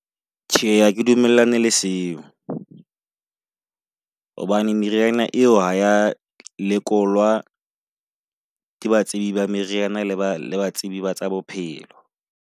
Tjhe, ha ke dumellane le seo. hobane meriana eo ha ya lekolwa ke batsebi ba meriana le ba le batsebi batsa bophelo.